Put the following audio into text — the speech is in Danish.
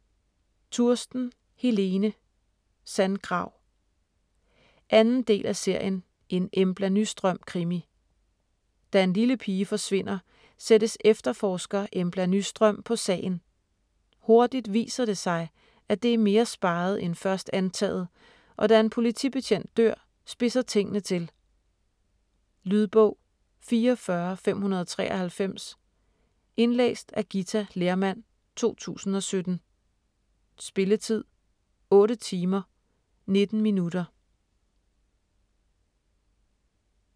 Tursten, Helene: Sandgrav 2. del af serien En Embla Nyström krimi. Da en lille pige forsvinder, sættes efterforsker Embla Nyström på sagen. Hurtigt viser det sig, at det er mere speget end først antaget, og da en politibetjent dør, spidser tingene til. Lydbog 44593 Indlæst af Githa Lehrmann, 2017. Spilletid: 8 timer, 19 minutter.